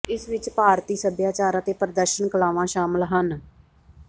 ਇਸ ਵਿਚ ਭਾਰਤੀ ਸਭਿਆਚਾਰ ਅਤੇ ਪ੍ਰਦਰਸ਼ਨ ਕਲਾਵਾਂ ਸ਼ਾਮਲ ਹਨ